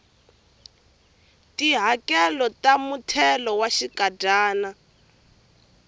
tihakelo ta muthelo wa xinkadyana